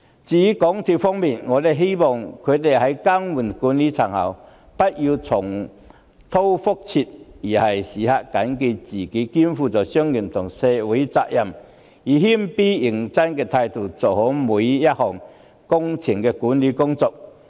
至於港鐵公司方面，我希望他們更換管理層後不要重蹈覆轍，並時刻緊記自己肩負商業及社會責任，以謙卑認真的態度做好每項工程的管理工作。